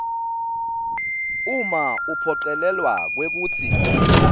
uma uphocelelwa kwekutsi